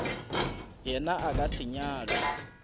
yena a ka se nyalwe